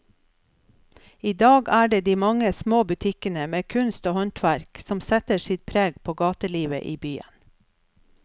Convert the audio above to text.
I dag er det de mange små butikkene med kunst og håndverk som setter sitt preg på gatelivet i byen.